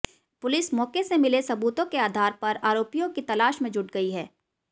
police मौके से मिले सबूतों के आधार पर आरोपियों की तलाश में जुट गई है